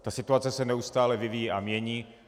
Ta situace se neustále vyvíjí a mění.